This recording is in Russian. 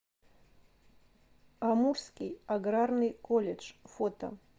амурский аграрный колледж фото